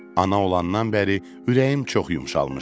Ana olandan bəri ürəyim çox yumşalmışdı.